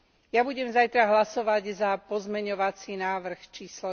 Ja budem zajtra hlasovať za pozmeňovací návrh č.